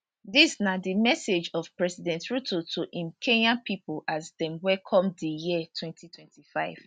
dis na di message of president ruto to im kenyan pipo as dem welcome di year 2025